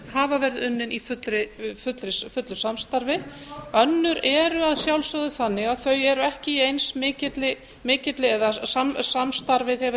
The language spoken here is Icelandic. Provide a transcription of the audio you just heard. hafa verið unnin í fullu samstarfi önnur eru að sjálfsögðu þannig að þau eru ekki í eins mikilli eða samstarfið hefur